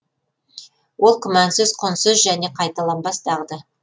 ол күмәнсіз құнсыз және қайталанбас дағды